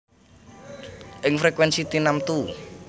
Ing frekuènsi tinamtu